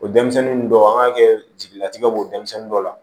O denmisɛnnin dɔw an k'a kɛ jigilatigɛw b'o denmisɛnnin dɔw la